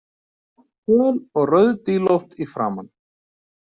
Föl og rauðdílótt í framan.